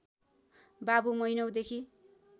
बाबु महिनौंदेखि